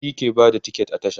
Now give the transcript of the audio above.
shi ke Bada tiket a tasha